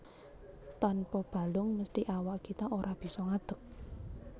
Tanpa balung mesthi awak kita ora bisa ngadeg